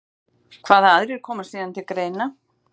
Hvaða aðrir koma síðan til greina?